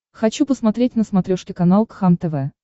хочу посмотреть на смотрешке канал кхлм тв